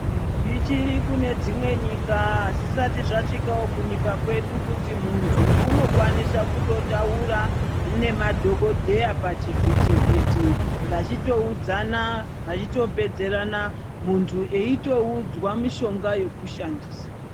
Zvichiri kune dzimwe nyika azvisati zvasvika kunyikawo kunyika kwedu kuti mundu unokwanisa kutotaura nemaDhokodheya pachivhichi vhichi vachitoudzana, vachitopedzerana mundu eitoudzwa mishonga yekushandisa.